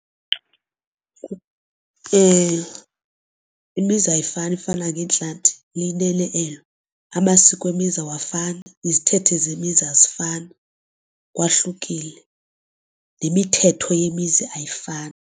Imizi ayifani ifana ngeentlanti liyinene elo, amasiko emizi awafani izithethe zemithi azifani kwahlukile nemithetho yemizi ayifani.